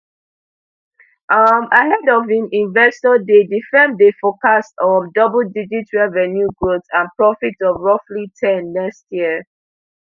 um ahead of im investor day di firm dey forecast um double digit revenue growth and profits of roughly ten next year